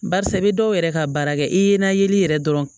Barisa i be dɔw yɛrɛ ka baara kɛ i ye na yeli yɛrɛ dɔrɔn